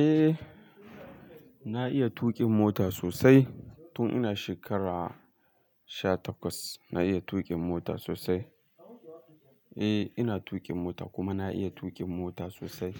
Eh na iya tuƙin mota sosai tun ina shekara sha takwas na iya tuƙin mota sosai. Eh ina tuƙin mota kuma na iya tuƙin mota sosai